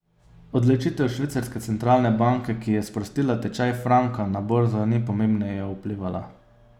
Odločitev švicarske centralne banke, ki je sprostila tečaj franka, na borzo ni pomembneje vplivala.